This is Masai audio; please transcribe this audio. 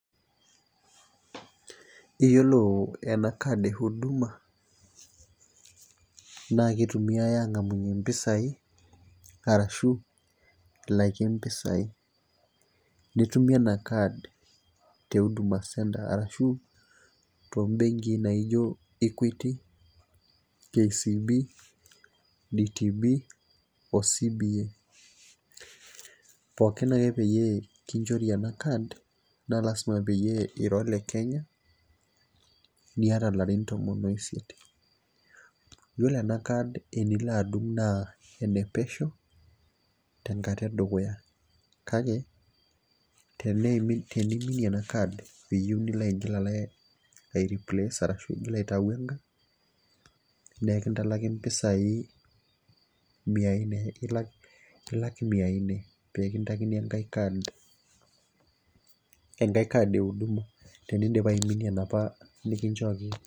Iyolo ena enkadi ehuduma naa keitumiyai aangamunye impisai arashu ilakie empisai, nitumie ena inkaad te huduma centre arashu to imbenkii naijo equity, LCB,DTB ,CBA. Pookin ake peyie kinchori ena kaad naa lasima peyie ira le Kenya, nieta ilarin tomon o isiet. Iyolo ena inkaad enilo adung' naa enepesheu tenkata edukuya kake teneiminie ena inkaad peyeu nilo aigil aireplace arashu igira aitau enkae, naa enkintalaki impisai mia nne, ilak mia nne peekintakini enkae kaad, enkae kaad ehuduma tenindipa aiminie enopa nikinchooki